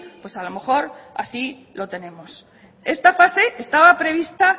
pues a lo mejor así lo tenemos esta fase estaba prevista